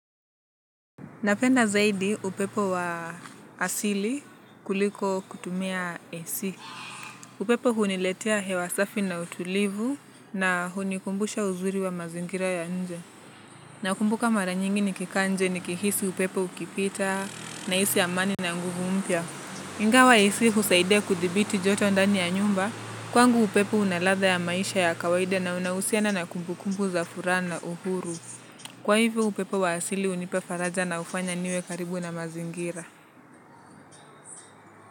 Napenda zaidi upepo wa asili kuliko kutumia AC. Upepo huniletia hewasafi na utulivu na hunikumbusha uzuri wa mazingira ya nje. Nakumbuka mara nyingi nikika nje nikihisi upepo ukipita naisi amani na nguvu mpia. Ingawa AC husaidia kudibiti joto ndani ya nyumba. Kwangu upepo unalatha ya maisha ya kawaide na unahusiana na kumbu kumbu za fura na uhuru. Kwa hivyo upepo wa asili unipa faraja na ufanya niwe karibu na mazingira.